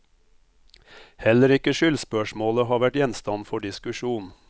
Heller ikke skyldspørsmålet har vært gjenstand for diskusjon.